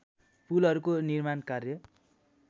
पुलहरूको निर्माण कार्य